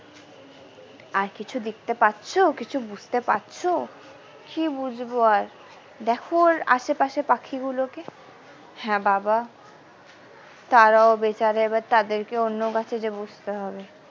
আর কিছু দেখতে পাচ্ছো কিছু বুঝতে পারছো কি বুঝবো আর দেখো ওর আসে পাশে পাখি গুলোকে হ্যাঁ বাবা তারাও বেচারা আবার তাদেরকেও অন্য বাসায় গিয়ে বসতে হবে।